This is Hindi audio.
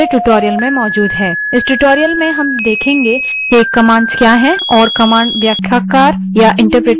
इस tutorial में हम देखेंगे कि commands क्या हैं और commands व्याख्याकार या interpreter क्या है